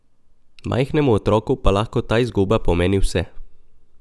Majhnemu otroku pa lahko ta izguba pomeni vse.